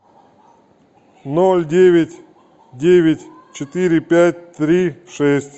ноль девять девять четыре пять три шесть